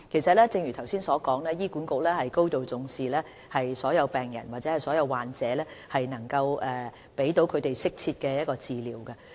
正如我剛才所說，醫管局高度重視所有病患者，盡量向他們提供適切的治療。